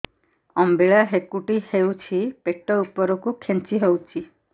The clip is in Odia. ଅମ୍ବିଳା ହେକୁଟୀ ହେଉଛି ପେଟ ଉପରକୁ ଖେଞ୍ଚି ହଉଚି